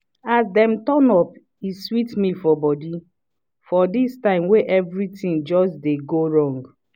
as dem turn up e sweet me for body for this time wey everything just dey go wrong.